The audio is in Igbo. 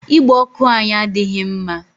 Igbe ọkụ anyị adịghị mma.